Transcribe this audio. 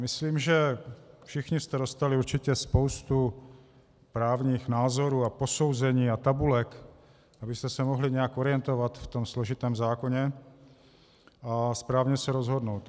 Myslím, že všichni jste dostali určitě spoustu právních názorů a posouzení a tabulek, abyste se mohli nějak orientovat v tom složitém zákoně a správně se rozhodnout.